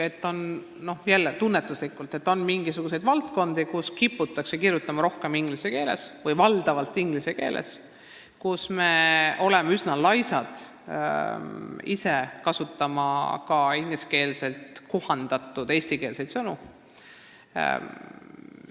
Ütlen jälle tunnetuslikult, et meil on mingisugused valdkonnad, kus kiputakse kirjutama rohkem või valdavalt inglise keeles või kus me oleme ise üsna laisad kasutama inglise keelest eesti keelde kohandatud sõnu.